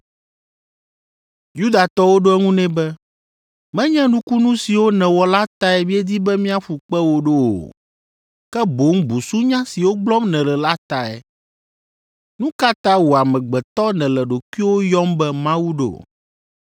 Yudatɔwo ɖo eŋu nɛ be, “Menye nukunu siwo nèwɔ la tae míedi be míaƒu kpe wò ɖo o, ke boŋ busunya siwo gblɔm nèle la tae. Nu ka ta wò amegbetɔ nèle ɖokuiwò yɔm be Mawu ɖo?”